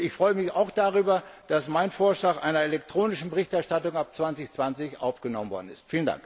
Und ich freue mich auch darüber, dass mein Vorschlag einer elektronischen Berichterstattung ab 2020 aufgenommen worden ist.